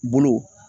Bolo